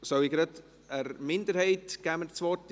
Ich gebe in diesem Fall der Minderheit das Wort.